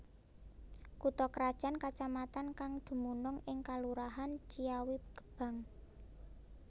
Kutha krajan kacamatan kang dumunung ing kalurahan Ciawigebang